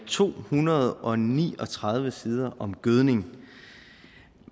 to hundrede og ni og tredive sider om gødning